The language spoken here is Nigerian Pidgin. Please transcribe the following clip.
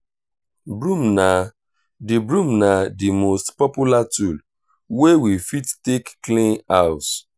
broom na di broom na di most popular tool wey we fit take clean house